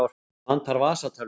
Mig vantar vasatölvu.